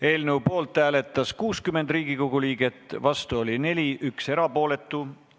Hääletustulemused Poolt hääletas 67 Riigikogu liiget, vastuolijaid ja erapooletuid ei ole.